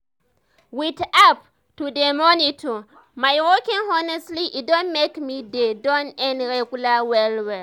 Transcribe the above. with app to dey monitor my walking honestly e don make me dey do am regular well well.